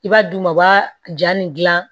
I b'a d'u ma u b'a ja nin gilan